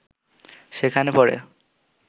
সেখানে পড়ে